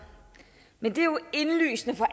men det er jo indlysende for